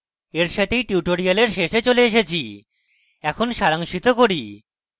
এর সাথেই tutorial শেষে চলে এসেছি এখন সারাংশিত করি